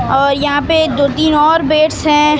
और यहां पे दो तीन और बेड्स है।